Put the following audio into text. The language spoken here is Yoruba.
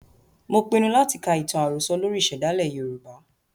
Mo pinu láti ka ìtàn àròsọ lórí ìsèdálè Yorùbá.